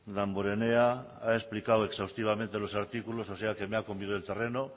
damborenea ha explicado exhaustivamente los artículos o sea que me ha comido el terreno